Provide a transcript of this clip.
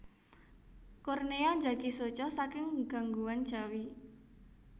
Kornea njagi soca saking gangguan jawi